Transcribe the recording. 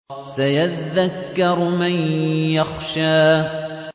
سَيَذَّكَّرُ مَن يَخْشَىٰ